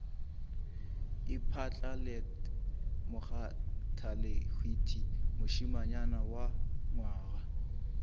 iphatlalalet bakgathalehwiti mošemanyana wa nywaga